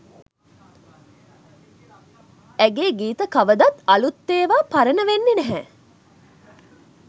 ඇගේ ගීත කවදත් අළුත් ඒවා පරණ වෙන්නේ නැහැ